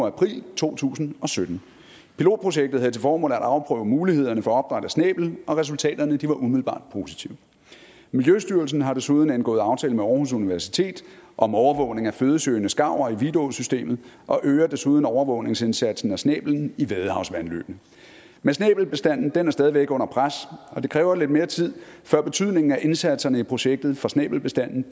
april to tusind og sytten pilotprojektet havde til formål at afprøve mulighederne for opdræt snæbel og resultaterne var umiddelbart positive miljøstyrelsen har desuden indgået aftale med aarhus universitet om overvågning af fødesøgende skarver i vidåsystemet og øger desuden overvågningsindsatsen af snæblen i vadehavsvandløbene men snæbelbestanden er stadig væk under pres og det kræver lidt mere tid før betydningen af indsatserne i projektet for snæbelbestanden